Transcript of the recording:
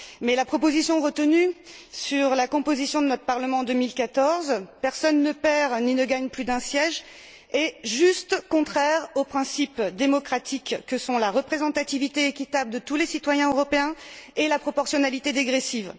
Toutefois, la proposition retenue sur la composition de notre Parlement en 2014 personne ne perd ni ne gagne plus d'un siège est tout simplement contraire aux principes démocratiques que sont la représentativité équitable de tous les citoyens européens et la proportionnalité dégressive.